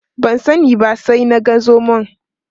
Ban sani ba sai na ga zomon.